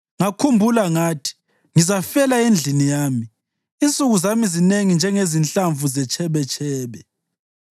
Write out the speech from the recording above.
Ngakhumbula ngathi, ‘Ngizafela endlini yami, insuku zami zinengi njengezinhlamvu zetshebetshebe.